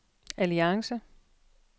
alliance